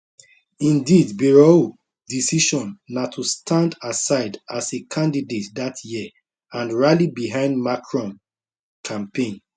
indeed bayrou decision na to stand aside as a candidate dat year and rally behind macron campaign